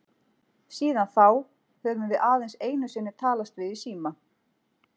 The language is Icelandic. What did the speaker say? Síðan þá höfum við aðeins einu sinni talast við í síma.